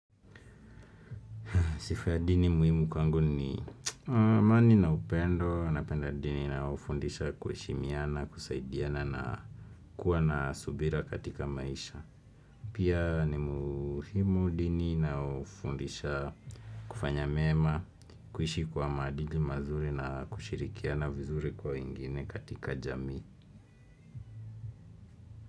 Sifa ya dini muhimu kwangu ni amani na upendo. Napenda dini inayofundisha kuheshimiana, kusaidiana na kuwa na subira katika maisha. Pia ni muhimu dini na ufundisha kufanya mema, kuishi kwa madili mazuri na kushirikiana vizuri kwa wengine katika jamii.